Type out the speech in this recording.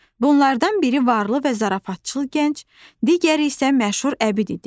Bunlardan biri varlı və zarafatçıl gənc, digəri isə məşhur əbid idi.